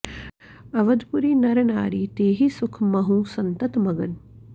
अवधपुरी नर नारि तेहि सुख महुँ संतत मगन